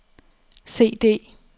CD